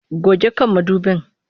Goge kan mudubin!